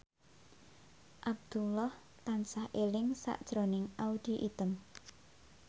Abdullah tansah eling sakjroning Audy Item